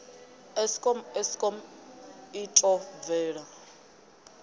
eskom eskom i ḓo bvela